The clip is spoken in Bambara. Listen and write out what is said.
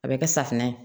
A bɛ kɛ safunɛ ye